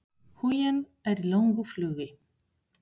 Huginn er í löngu flugi.